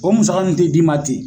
O musaka nin tɛ d'i ma ten.